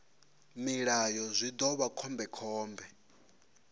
mulayo zwi ḓo vha khombekhombe